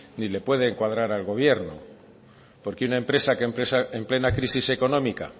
ni le pueden cuadran al gobierno porque una empresa en plena crisis económica